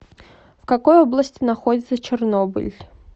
в какой области находится чернобыль